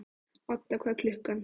Odda, hvað er klukkan?